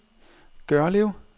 Gørlev